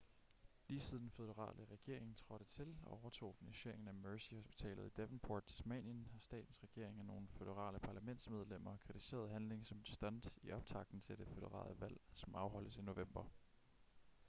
lige siden den føderale regering trådte til og overtog finansieringen af mersey hospitalet i devonport tasmanien har statens regering og nogle føderale parlamentsmedlemmer kritiseret handlingen som et stunt i optakten til det føderale valg som afholdes i november